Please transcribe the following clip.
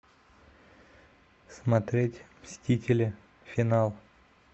смотреть мстители финал